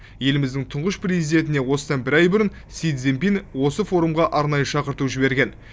еліміздің тұңғыш президентіне осыдан бір ай бұрын си цзиньпин осы форумға арнайы шақырту жіберген